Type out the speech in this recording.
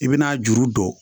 I bɛna juru don